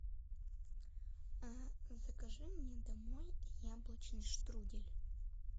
а закажи мне домой яблочный штрудель